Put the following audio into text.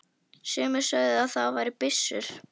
Sumir sögðu að það væri byssur.